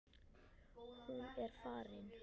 Hún er farin.